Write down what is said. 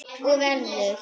Og verður.